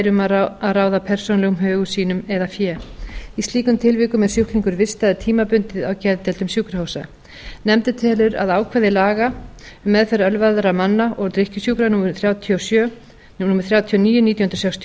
um að ráða persónulegum högum sínum eða fé í slíkum tilvikum er sjúklingur vistaður tímabundið á geðdeildum sjúkrahúsa nefndin telur að ákvæði laga um meðferð ölvaðra manna og drykkjusjúkra númer þrjátíu og níu nítján hundruð sextíu